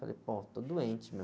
Eu falei, pô, estou doente, meu.